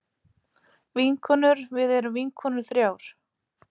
Vinkonurvið erum vinkonur þrjár.